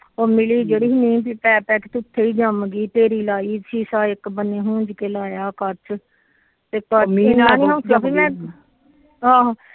ਉਹ ਮਿਲੀ ਜਿਹੜੀ ਮਿਹ ਪੈਪੈ ਕੇ ਉਥੇ ਹੀ ਜੰਮ ਗੀ ਢੇਰੀ ਲਾਈ ਸ਼ੀਸ਼ਾ ਇੱਕ ਬੰਨੇ ਲਾਇਆ ਖੁਜ ਕ ਕੱਚ ਆਹੋ